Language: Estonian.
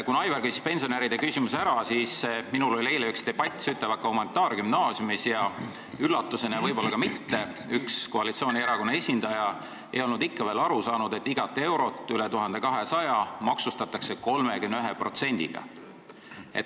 Aivar küsis pensionäride küsimuse ära, aga minul oli debatt Sütevaka humanitaargümnaasiumis ja üllatusena – võib-olla ka mitte – selgus, et üks koalitsioonierakonna esindaja ei olnud ikka veel aru saanud, et igat eurot, mis üle 1200 euro teenitakse, maksustatakse 31%-ga.